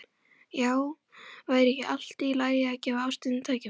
Já, væri ekki allt í lagi að gefa ástinni tækifæri?